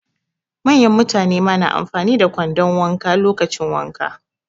Manyan mutane ma na amfani da kwandon wanka lokacin wanka.